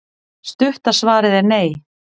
Stutta svarið er nei.